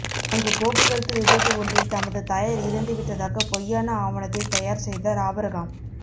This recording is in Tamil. அங்கு போக்குவரத்து விபத்து ஒன்றில் தமது தாயார் இறந்துவிட்டதாக பொய்யான ஆவணத்தை தயார் செய்தார் ஆபிரகாம்